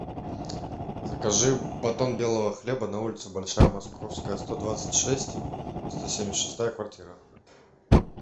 закажи батон белого хлеба на улицу большая московская сто двадцать шесть сто семьдесят шестая квартира